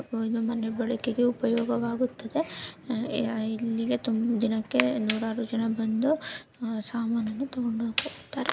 ಇದು ಮನೆಗಳಿಗೆ ಉಪಯೋಗವಾಗುತ್ತದೆ ಇಲ್ಲಿ ತುಂಬ ದಿನಕ್ಕೆ ನೂರಾರು ಜನ ಬಂದು ಸಾಮನನ್ನು ತಗೊಂಡು ಹೋಗುತ್ತಾರೆ.